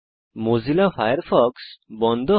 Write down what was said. Mozilla Firefox বন্ধ হয়